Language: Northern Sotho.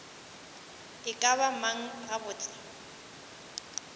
e ka ba mang gabotse